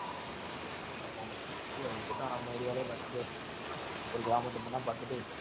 ஆமா ஆமா. போய் பேசாம நம்ம area லயே பாத்துட்டு, ஒரு கிராமத்து பொண்ணா பாத்துட்டு